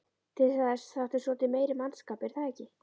Til þess þarftu svolítið meiri mannskap er það ekki?